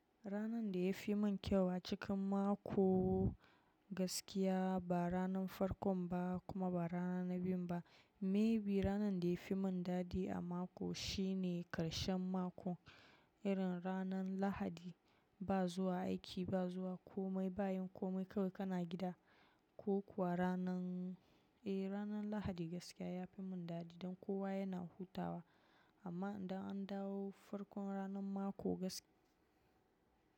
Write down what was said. Ranan da ya fi mun kyau a cikin mako gaskiya ba ranan farkon ba kuma ba rana na biyun ba. Maybe ranan da ya fi mun dadi a mako shine karshen mako, irin ranan lahadi. Ba zuwa aiki, ba zuwa komai, bayan komai kawai kana gida. Ko kuwa ranan, eh ranan lahadi gaskiya ya fi mun dadi dan kowa yana hutawa. Amma idan an dawo farkon ranan mako gaskiya.